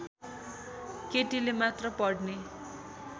केटीले मात्र पढ्ने